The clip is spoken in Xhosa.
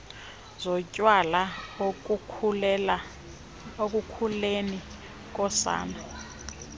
zotywala ekukhuleni kosana